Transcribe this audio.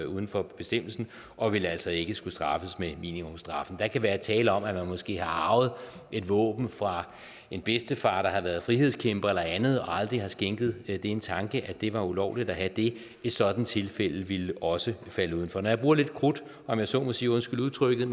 uden for bestemmelsen og vil altså ikke skulle straffes med minimumsstraffen der kan være tale om at man måske har arvet et våben fra en bedstefar der har været frihedskæmper eller andet og aldrig har skænket det en tanke at det var ulovligt at have det et sådant tilfælde ville også falde udenfor når jeg bruger lidt krudt om jeg så må sige undskyld udtrykket